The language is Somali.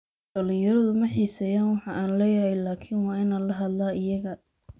Dhalinyaradu ma xiiseeyaan waxa aan leeyahay laakiin waa inaan la hadlaa iyaga.